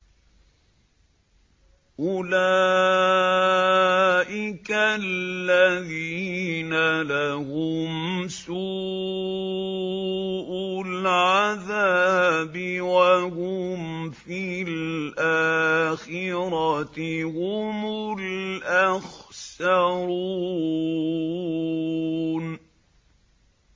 أُولَٰئِكَ الَّذِينَ لَهُمْ سُوءُ الْعَذَابِ وَهُمْ فِي الْآخِرَةِ هُمُ الْأَخْسَرُونَ